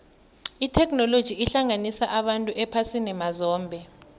itheknoloji ihlanganisa abantu ephasini mazombe